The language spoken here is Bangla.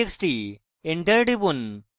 enter টিপুন